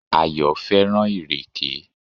Ayò fẹ́ràn ìrèké